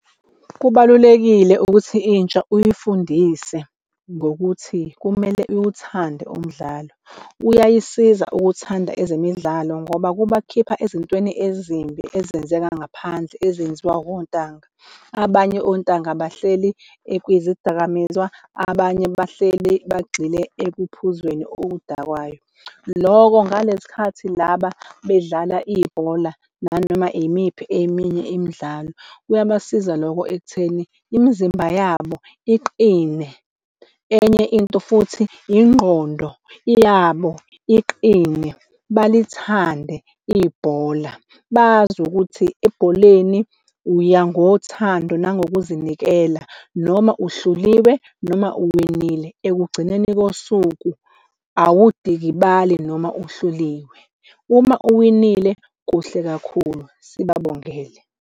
Kubalulekile ukuthi intsha uy'fundise ngokuthi kumele iwuthande umdlalo. Uyayisiza ukuthanda ezemidlalo ngoba kubakhipha ezintweni ezimbi ezenzeka ngaphandle ezenziwa wontanga. Abanye ontanga bahleli kwizidakamizwa, abanye bahleli bagxile ekuphuzweni oludakwayo. Loko ngalesi khathi laba bedlala ibhola nanoma yimiphi eminye imidlalo kuyabasiza loko ekutheni imizimba yabo iqine enye into futhi yingqondo yabo iqine, balithande ibhola. Bazi ukuthi ebholeni uya ngothando nangokuzinikela noma uhluliwe noma uwinile ekugcineni kosuku awudikibali, noma uhluliwe uma uwinile kuhle kakhulu sibabongele.